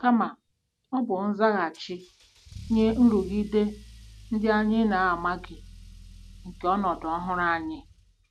Kama, ọ bụ nzaghachi nye nrụgide ndị anyị na-amaghị nke ọnọdụ ọhụrụ anyị. ”